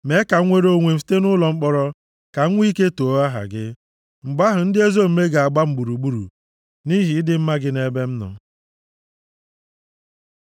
Mee ka m nwere onwe m site nʼụlọ mkpọrọ, ka m nwee ike too aha gị. Mgbe ahụ ndị ezi omume ga-agba m gburugburu nʼihi ịdị mma gị nʼebe m nọ.